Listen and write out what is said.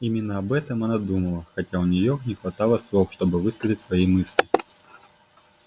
именно об этом она думала хотя у неё не хватало слов чтобы высказать свои мысли